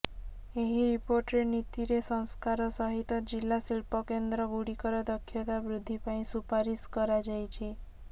ଏହି ରିପୋର୍ଟରେ ନୀତିରେ ସଂସ୍କାର ସହିତ ଜିଲ୍ଲା ଶିଳ୍ପକେନ୍ଦ୍ର ଗୁଡିକର ଦକ୍ଷତା ବୃଦ୍ଧିପାଇଁ ସୁପାରିଶ୍ କରାଯାଇଛି